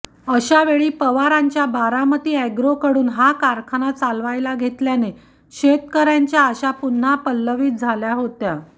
अशावेळी पवारांच्या बारामती अॅग्रोकडून हा कारखाना चालवायला घेतल्याने शेतकऱ्यांच्या अशा पुन्हा पल्लवित झाल्या आहेत